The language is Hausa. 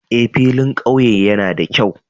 Eh, filin ƙauye yana da kyau